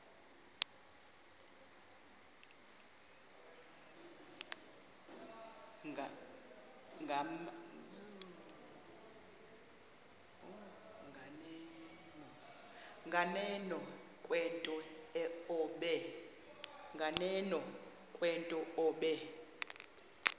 nganeno kwento obe